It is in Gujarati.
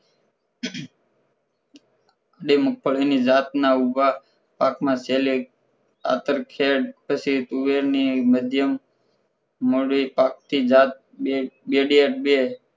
બે મગફળીની જાતના ઉભા પાક માં છેલ્લે અંતર ખેળ પછી તુવેરની મધ્યમ મોડી પાક જાત બેડબેડ બે